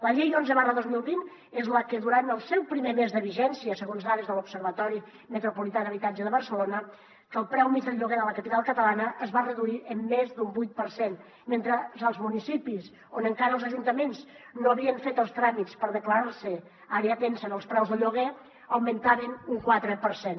la llei onze dos mil vint és la que durant el seu primer mes de vigència segons dades de l’observatori metropolità d’habitatge de barcelona que el preu mitjà del lloguer de la capital catalana es va reduir en més d’un vuit per cent mentre als municipis on encara els ajuntaments no havien fet els tràmits per declarar se àrea tensa en els preus del lloguer augmentaven un quatre per cent